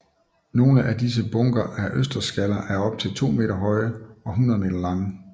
Nogle af disse bunker af østersskaller er op til to meter høje og 100 meter lange